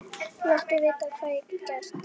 Hann kinkaði hægt kolli við orðum konungs.